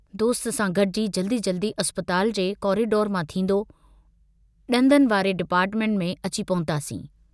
दोस्त सां गड़िजी जल्दी जल्दी अस्पताल जे कॉरीडोर मां थींदो, दंदनि वारे डिपार्टमेंट में अची पहुतासीं।